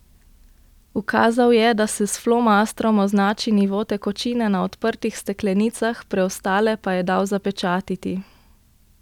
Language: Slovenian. Ukazal je, da se s flomastrom označi nivo tekočine na odprtih steklenicah, preostale pa je dal zapečatiti.